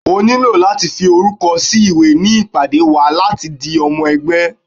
o niló latí fí orúkọ sí ìwé ní ìpàdé wa láti di omo ẹgbẹ́